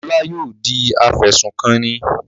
Ọlá yóò di afẹ̀sùnkanni.